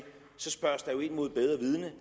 mod bedre vidende